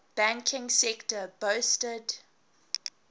banking sector boasted